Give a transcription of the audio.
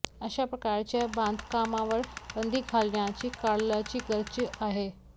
अशा प्रकारच्या बांधकामांवर बंदी घालण्याची काळाची गरज आहे